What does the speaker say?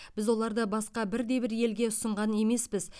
біз оларды басқа бірде бір елге ұсынған емеспіз